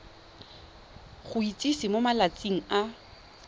go itsise mo malatsing a